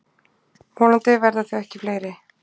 Vonandi verða þau ekki fleiri.